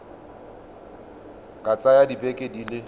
ka tsaya dibeke di le